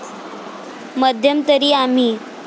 मध्यंतरी आम्ही.